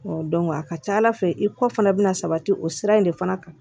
a ka ca ala fɛ i kɔ fana bɛna sabati o sira in de fana kan